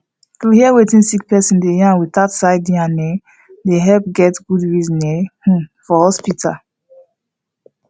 to hear wetin sick person dey yarn without side yarn um dey helep get good reasoning um for hospital